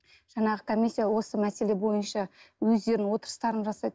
жаңағы комиссия осы мәселе бойынша өздерінің отырыстарын жасайды